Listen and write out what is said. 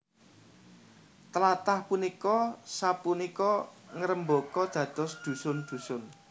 Tlathah punika sapunika ngrembaka dados dhusun dhusun